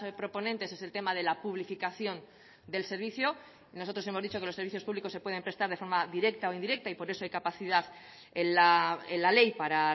proponentes es el tema de la publificación del servicio nosotros hemos dicho que los servicios públicos se pueden prestar de forma directa o indirecta y por eso hay capacidad en la ley para